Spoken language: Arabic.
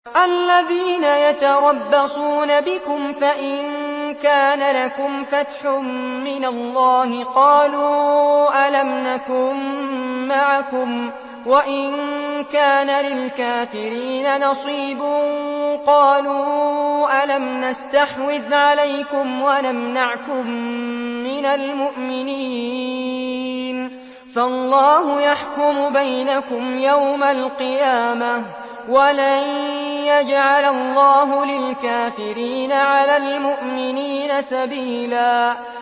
الَّذِينَ يَتَرَبَّصُونَ بِكُمْ فَإِن كَانَ لَكُمْ فَتْحٌ مِّنَ اللَّهِ قَالُوا أَلَمْ نَكُن مَّعَكُمْ وَإِن كَانَ لِلْكَافِرِينَ نَصِيبٌ قَالُوا أَلَمْ نَسْتَحْوِذْ عَلَيْكُمْ وَنَمْنَعْكُم مِّنَ الْمُؤْمِنِينَ ۚ فَاللَّهُ يَحْكُمُ بَيْنَكُمْ يَوْمَ الْقِيَامَةِ ۗ وَلَن يَجْعَلَ اللَّهُ لِلْكَافِرِينَ عَلَى الْمُؤْمِنِينَ سَبِيلًا